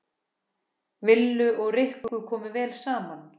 Lillu og Rikku kom vel saman.